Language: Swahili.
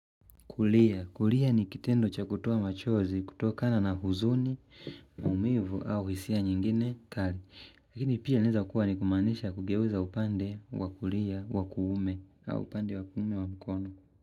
Kulia. Kulia ni kitendo cha kutoa machozi, kutokana na huzuni, umivu au hisia nyingine kali. Lakini pia laweza kuwa ni kumanisha kugeuza upande wa kulia, wakuume au upande wakuume wa mikono.